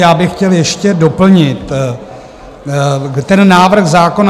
Já bych chtěl ještě doplnit ten návrh zákona.